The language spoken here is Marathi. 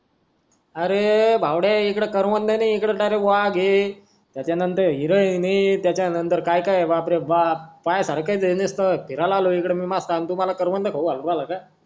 अरे ये भावड्या इत्ते करवंद नाय वाघ हे त्याच्यानंतर हिरण हे त्याच्यानंतर कायकाय हे बापरे बाप फिरायला आलोय मी मस्त तुम्हाला मी करवंद ठेऊ